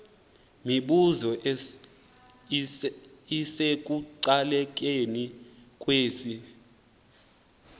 mibuzo isekuqalekeni kwesi